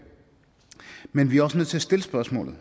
men vi er også nødt til at stille spørgsmålet